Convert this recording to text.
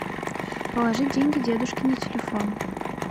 положи деньги дедушке на телефон